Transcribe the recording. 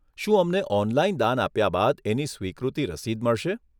શું અમને ઓનલાઈન દાન આપ્યા બાદ એની સ્વીકૃતિ રસીદ મળશે?